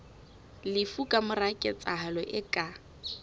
lefu kamora ketsahalo e ka